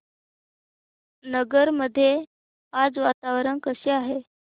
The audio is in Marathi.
नगर मध्ये आज वातावरण कसे आहे